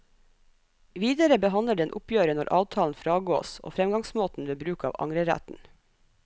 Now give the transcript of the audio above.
Videre behandler den oppgjøret når avtalen fragås og fremgangsmåten ved bruk av angreretten.